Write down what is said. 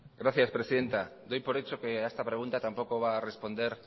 gracias presidenta doy por hecho que a esta pregunta tampoco va a responder